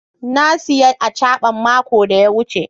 na siya " achaban" mako da ya wuce.